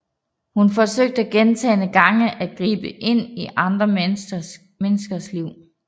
Hun forsøgte gentagne gange at gribe ind i andre menneskers liv